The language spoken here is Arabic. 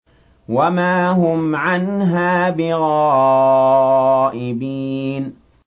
وَمَا هُمْ عَنْهَا بِغَائِبِينَ